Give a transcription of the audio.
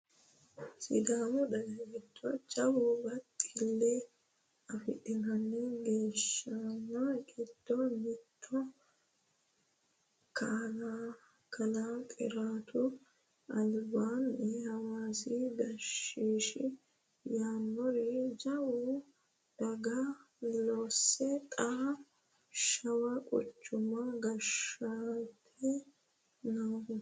Sidaamu daga giddo jawa baxile afidhino gashshano giddo mittoho kalaa Xiratu albaani hawaasa gashshi yannara jawa dhagge loose xa shawa quchuma gashsheeti noohu.